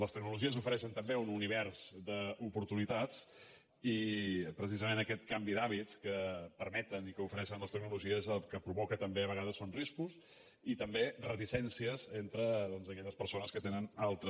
les tecnologies ofereixen també un univers d’oportunitats i precisament aquest canvi d’hàbits que permeten i que ofereixen les tecnologies el que provoca també a vegades són riscos i també reticències entre aquelles persones que tenen altres